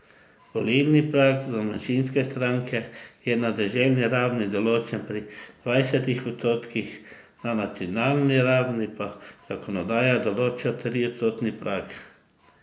Volilni prag za manjšinske stranke je na deželni ravni določen pri dvajsetih odstotkih, na nacionalni ravni pa zakonodaja določa triodstotni prag.